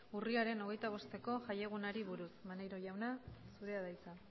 urriaren hogeita bosteko jaiegunari buruz maneiro jauna zurea da hitza